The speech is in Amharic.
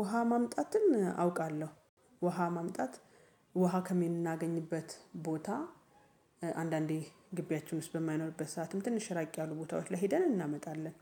ውሃ ማምጣትን አውቃለሁ። ውሃ ማምጣት ውሃ ከምን እናገኝበት ቦታ። አንዳንዴ ግቢያችን ውስጥ በማይኖርበት ሰዓትም ትንሽ ራቅ ያሉ ቦታዎች ላይ ሄደን እናመጣለን።